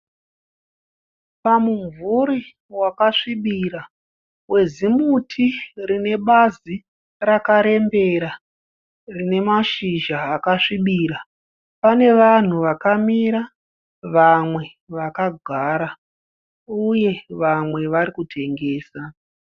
Pamumvuri wakasvibira wezimuti rine bazi rakarembera rine mashizha akasvibira pane vanhu vakamira vamwe vakagara uye vamwe varikutengesa.